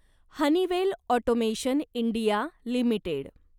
Honeywell automation India limited